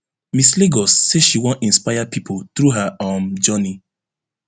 miss lagos say she wan inspire pipo through her um journey